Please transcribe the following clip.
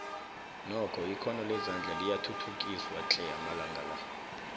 nokho ikhono lezandla liyathuthukiswa tle amalanga la